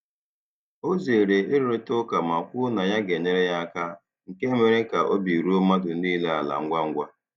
Ọ zere ịrụrịta ụka ma kwuo na ya ga-enyere ya aka, nke mere ka obi ruo mmadụ niile ala ngwa ngwa.